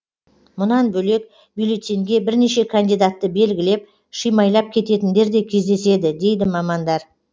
мұнан бөлек бюллетеньге бірнеше кандидатты белгілеп шимайлап кететіндер де кездеседі дейді мамандар